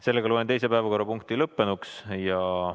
Sellega loen teise päevakorrapunkti käsitlemise lõppenuks.